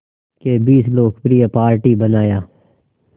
के बीच लोकप्रिय पार्टी बनाया